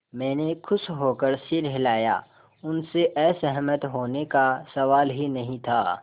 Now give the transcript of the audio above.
मैंने खुश होकर सिर हिलाया उनसे असहमत होने का सवाल ही नहीं था